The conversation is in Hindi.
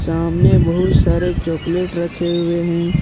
सामने बहुत सारे चॉकलेट रखे हुए हैं।